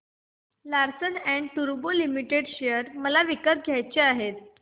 Larsen and टुर्बो limited share मला विकत घ्यायचे आहेत